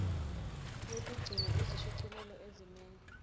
yokuqgcinaa izishicilelo ezinemi